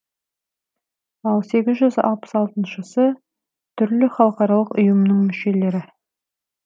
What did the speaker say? ал сегіз жүз алпыс алтысыншысы түрлі халықаралық ұйымның мүшелері